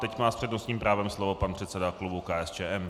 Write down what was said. Teď má s přednostním právem slovo pan předseda klubu KSČM.